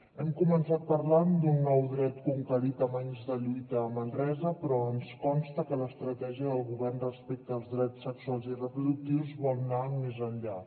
hem començat parlant d’un nou dret conquerit amb anys de lluita a manresa però ens consta que l’estratègia del govern respecte als drets sexuals i reproductius vol anar més enllà